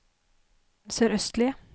sørøstlige